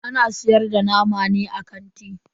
Ana siyar da nama ne a kanti?